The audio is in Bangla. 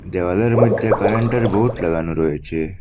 দেওয়ালের মধ্যে কারেন্টের বোর্ড লাগানো রয়েছে।